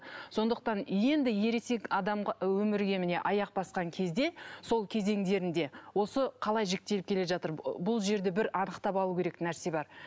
сондықтан енді ересек адамға өмірге міне аяқ басқан кезде сол кезеңдерінде осы қалай жіктеліп келе жатыр бұл жерде бір анықтап алу керек нәрсе бар